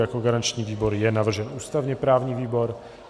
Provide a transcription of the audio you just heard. Jako garanční výbor je navržen ústavně-právní výbor.